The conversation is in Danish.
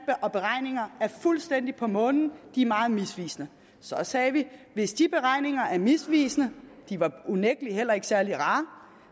og beregninger er fuldstændig på månen de er meget misvisende så sagde vi hvis de beregninger er misvisende de var unægtelig heller ikke særlig rare